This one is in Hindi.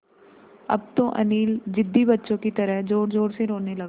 अब तो अनिल ज़िद्दी बच्चों की तरह ज़ोरज़ोर से रोने लगा